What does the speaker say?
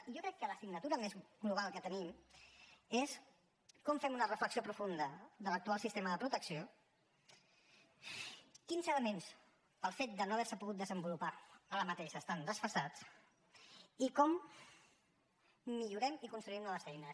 i jo crec que l’assignatura més global que tenim és com fem una reflexió profunda de l’actual sistema de protecció quins elements pel fet de no haver se pogut desenvolupar ara mateix estan desfasats i com millorem i construïm noves eines